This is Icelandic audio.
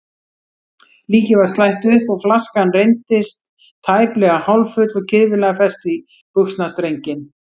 Líkið var slætt upp og flaskan reyndist tæplega hálffull og kirfilega fest í buxnastrenginn.